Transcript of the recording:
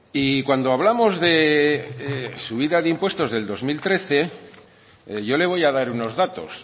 y cuando hablamos de subida de impuestos del dos mil trece yo le voy a dar unos datos